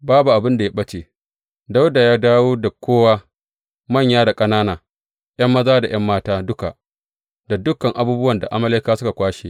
Babu abin da ya ɓace, Dawuda ya dawo da kowa, manya da ƙanana, ’yan maza da ’yan mata duka, da dukan abubuwan da Amalekawa suka kwashe.